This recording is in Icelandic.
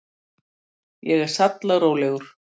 Ég er sallarólegur.